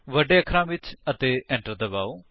ਵੱਡੇ ਅਖਰਾਂ ਵਿੱਚ ਅਤੇ enter ਦਬਾਓ